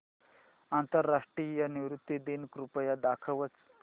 आंतरराष्ट्रीय नृत्य दिन कृपया दाखवच